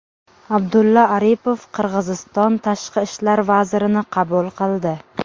Abdulla Aripov Qirg‘iziston tashqi ishlar vazirini qabul qildi.